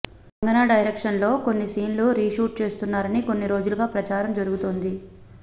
కంగనా డైరెక్షన్లో కొన్ని సీన్లు రీషూట్ చేస్తున్నారని కొన్ని రోజులుగా ప్రచారం జరుగుతోంది